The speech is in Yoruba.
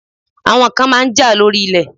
Àwọn kan máa ń jà lórí ilẹ̀.